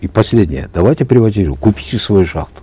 и последнее давайте приватизируем купите свою шахту